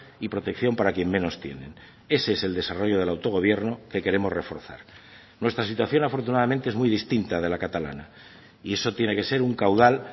y protección para quien menos tienen ese es el desarrollo del autogobierno que queremos reforzar nuestra situación afortunadamente es muy distinta de la catalana y eso tiene que ser un caudal